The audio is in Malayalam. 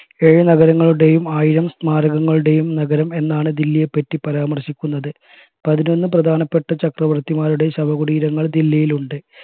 ഏഴ് നഗരങ്ങളുടെയും ആയിരം സമാരകങ്ങളുടെയും നഗരം എന്നാണ് ദില്ലിയെ പറ്റി പരാമർശിക്കുന്നത് പതിനൊന്ന് പ്രധാനപ്പെട്ട ചക്രവർത്തിമാരുടെ ശവകുടിരങ്ങൾ ദില്ലിയിലുണ്ട്